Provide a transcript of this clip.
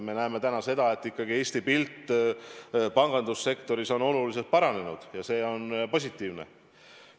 Me näeme täna seda, et ikkagi Eesti pangandussektoris on pilt oluliselt paranenud, ja see on positiivne.